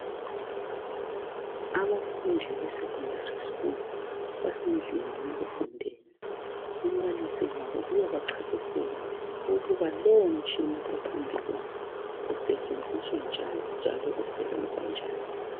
Abafundi be secondary school basendlini yokufundela umbalisi wabo uyabachasisela ukuba lowomtshina ophambi kwabo usetshenziswa njani njalo usebenza njani.